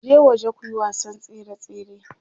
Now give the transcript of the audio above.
Je waje kuyi wasan tsere tsere.